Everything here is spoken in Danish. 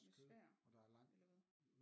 Med svær eller hvad